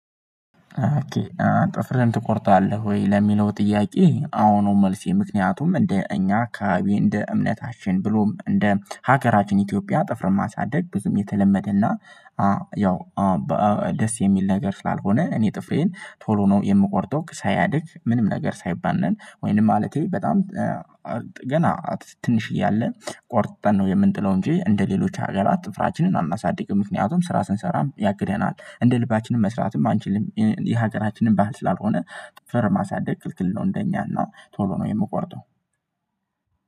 ኦኬ ጥፍርህን ትቆርጣለህ ወይ? ለሚለው ጥያቄ አዎ ነው። መልሴ ምክንያቱም እንደ እኛ አካባቢ እንደ እምነታችን ብሎም እንደ ሀገራችን ኢትዮጵያ ጥፍርን ማሳደግ ብዙም የተለመደና ያው ደስ የሚል ነገር ስላልሆነ። እኔ ጥፍሬን ቶሎ ነው የምቆርጠው ሳያድግ ምንም ነገር ሳይባነን ወይንም ማለቴ በጣም ገና ትንሽዬ አለ ቆርጠን ነው የምንጥለው እንጂ እንደሌሎች አገራት ጥፍራችንን አናሳድግም። ምክንያቱም ስራ ስንሰራም ያግደናል እንደ ልባችንም መስራትም አንችልም። የሀገራችንም ባህል ስላልሆነ ጥፍርን ማሳደግ ክልክል ነው። እንደኛ እና ቶሎ ነው የምቆርጠው።